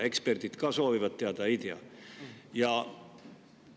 Eksperdid ka soovivad teada, ei tea.